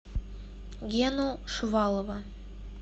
гену шувалова